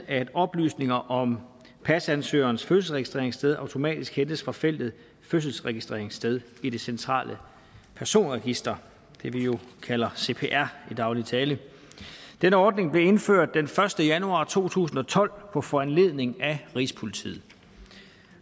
at oplysninger om pasansøgerens fødselsregistreringssted automatisk hentes fra feltet fødselsregistreringssted i det centrale personregister det vi kalder cpr i daglig tale denne ordning blev indført den første januar to tusind og tolv på foranledning af rigspolitiet